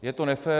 Je to nefér.